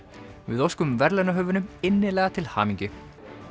við óskum verðlaunahöfunum innilega til hamingju